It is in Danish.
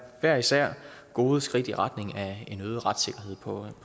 hver især gode skridt i retning af en øget retssikkerhed på